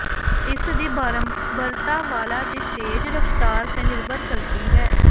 ਇਸ ਦੀ ਬਾਰੰਬਾਰਤਾ ਵਾਲਾਂ ਦੀ ਤੇਜ਼ ਰਫਤਾਰ ਤੇ ਨਿਰਭਰ ਕਰਦੀ ਹੈ